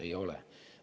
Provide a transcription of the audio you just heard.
Ei ole!